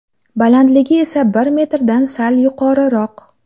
Balandligi esa bir metrdan sal yuqoriroq.